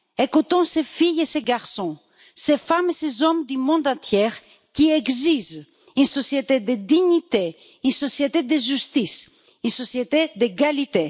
Écoutons ces filles et ces garçons, ces femmes et ces hommes du monde entier qui exigent une société de dignité, une société de justice, une société d'égalité.